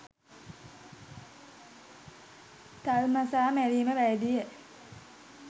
තල්මසා මැරීම වැරදිය